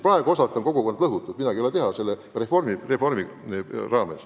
Praegu on kogukonnad reformi tõttu osalt lõhutud, midagi ei ole teha.